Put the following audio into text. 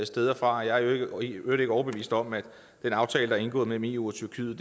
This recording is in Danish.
steder fra jeg er i øvrigt ikke overbevist om at den aftale der er indgået mellem eu og tyrkiet